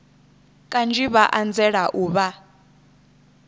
kanzhi vha anzela u vha